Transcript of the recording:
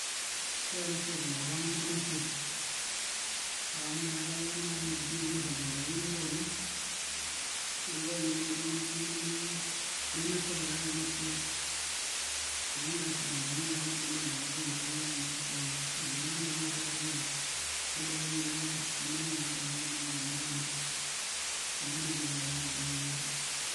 Ore ena siai tenkop ang' nemetii amu meetai naai iwuejitin naai niragie nkariak nijio kuna neeku ore nanu tenkop natii nemesapuk ena siai ashu tenijo naai aing'orr naa kibaari enewueji nemetii naa iwuejitin naijio kuna neeku mekiata iyiook tenkop ang' ena toki.